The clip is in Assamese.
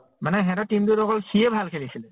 মানে সিহঁতৰ team টোত অকল সিয়ে ভাল খেলিছিলে।